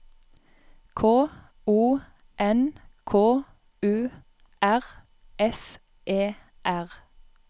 K O N K U R S E R